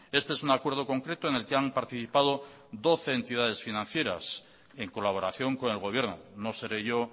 este es un acuerdo concreto en el que han participado doce entidades financieras en colaboración con el gobierno no seré yo